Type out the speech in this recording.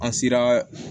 An sera